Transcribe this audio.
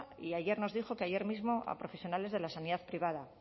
y ayer nos dijo que ayer mismo a profesionales de la sanidad privada